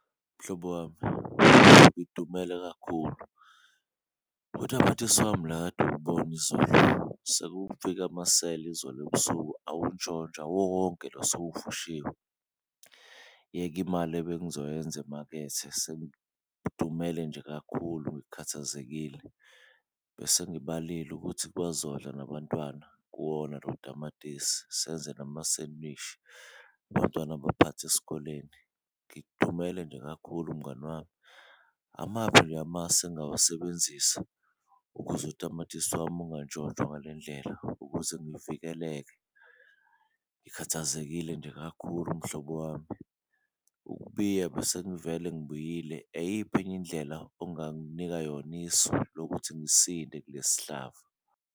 Mhlobo wami, ngidumele kakhulu utamatisi wami la akade uwubona izolo sekufike amasela izolo ebusuku awuntshontsha wonke lo , yeka imali ebengizoyenza emakethe sengidumele nje kakhulu ngikhathazekile. Bese ngibalile ukuthi bazodla nabantwana kuwona lo tamatisi, senze namasemishi abantwana baphathe esikoleni ngidumele nje kakhulu mngani wami. Amaphi nje amasu engawasebenzisa ukuze utamatisi wami ekungatshontshwa ngale ndlela, ukuze ngivikeleke, ngikhathazekile nje kakhulu mhlobo wami. Ukubiya besengivele ngibiyile, eyiphi enye indlela onganginika yona, isu lokuthi ngisinde kule sihlava.